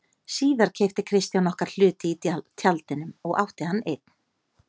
Síðar keypti Kristján okkar hluti í Tjaldinum og átti hann einn.